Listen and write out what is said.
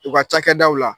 U ka cakɛdaw la